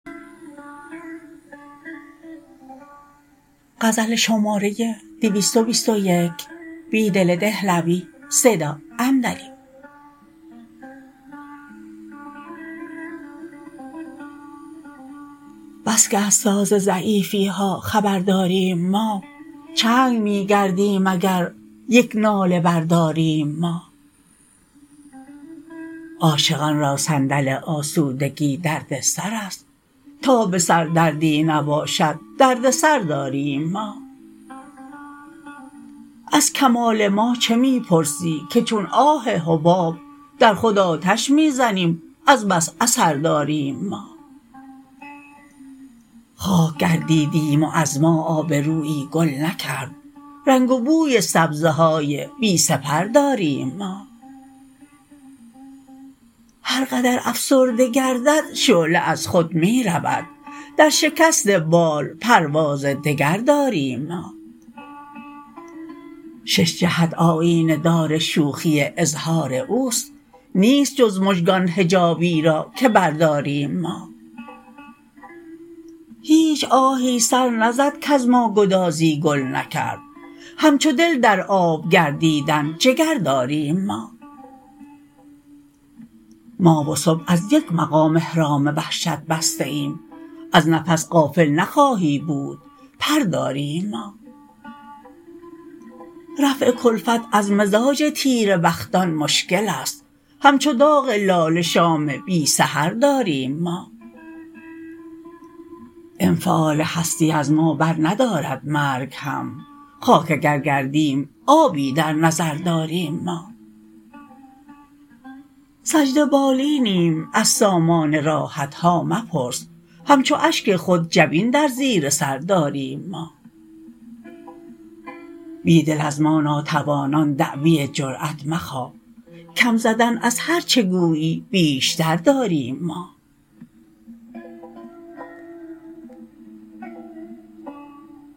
بسکه از ساز ضعیفی ها خبر داریم ما چنگ می گردیم اگر یک ناله برداریم ما عاشقان را صندل آسودگی دردسرست تا به سر دردی نباشد دردسر داریم ما ازکمال ما چه می پرسی که چون آه حباب در خود آتش می زنیم از بس اثر داریم ما خاک گردیدیم و از ما آبرویی گل نکرد رنگ و بوی سبزه های پی سپر داریم ما هرقدر افسرده گردد شعله از خود می رود در شکست بال پرواز دگر داریم ما شش جهت آیینه دار شوخی اظهاراوست نیست جزمژگان حجابی راکه برداریم ما هیچ آهی سر نزدکز ماگدازی گل نکرد همچو دل در آب گردیدن جگرداریم ما ما وصبح ازیک مقام احرام وحشت بسته ایم از نفس غافل نخواهی بود پر داریم ما رفع کلفت از مزاج تیره بختان مشکل است همچو داغ لاله شام بی سحر داریم ما انفعال هستی از ما برندارد مرگ هم خاک اگرگردیم آبی در نظر داریم ما سجده بالینیم از سامان راحتها مپرس همچواشک خود جبین در زیرسر داریم ما بیدل از ما ناتوانان دعوی جرأت مخواه کم زدن از هرچه گویی بیشتر داریم ما